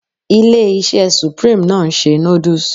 Ilé-iṣẹ́ supreme náà ń ṣe noodles